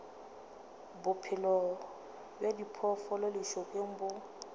bophelo bja diphoofolo lešokeng bo